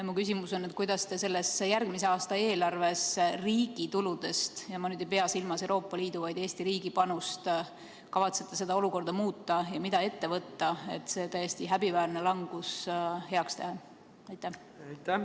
Mu küsimus on, kuidas te kavatsete järgmise aasta eelarves riigi tuludest – ja ma ei pea silmas Euroopa Liidu, vaid Eesti riigi panust – olukorda muuta ja mida ette võtta, et see täiesti häbiväärne langus heaks teha?